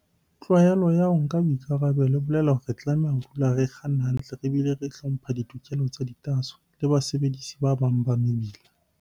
Tlwaelo ya ho nka boikarabelo e bolela hore re tlameha ho dula re kganna hantle re bile re hlompha ditokelo tsa ditaaso le basebedisi ba bang ba mebila.